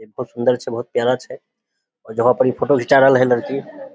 एक ते सुंदर छै बहुत प्यारा छै जहां पे इ फोटो घिंचा रहले ये लड़की --